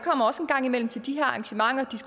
kommer også en gang imellem til de her arrangementer